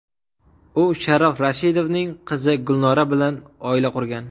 U Sharof Rashidovning qizi Gulnora bilan oila qurgan.